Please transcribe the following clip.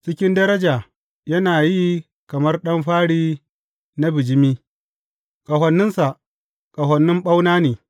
Cikin daraja yana yi kamar ɗan fari na bijimi; ƙahoninsa ƙahonin ɓauna ne.